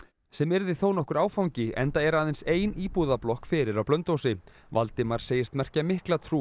sem yrði þónokkur áfangi enda er aðeins ein fyrir á Blönduósi Valdimar segist merkja mikla trú